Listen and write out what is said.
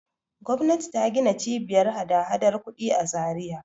Gwamnati ta gina Cibiyar hadahadar kuɗi a Zariya.